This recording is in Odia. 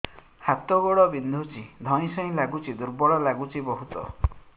ହାତ ଗୋଡ ବିନ୍ଧୁଛି ଧଇଁସଇଁ ଲାଗୁଚି ଦୁର୍ବଳ ଲାଗୁଚି ବହୁତ